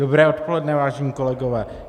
Dobré odpoledne, vážení kolegové.